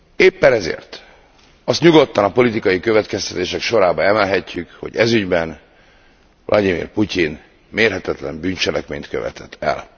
Éppen ezért azt nyugodtan a politikai következtetések sorába emelhetjük, hogy ez ügyben Vlagyimir Putyin mérhetetlen bűncselekményt követett el.